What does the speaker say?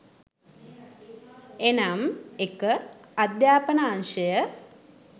එනම් 01.අධ්‍යාපන අංශය